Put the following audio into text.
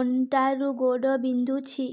ଅଣ୍ଟା ରୁ ଗୋଡ ବିନ୍ଧୁଛି